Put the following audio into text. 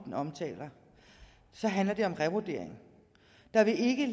som handler om revurdering der vil ikke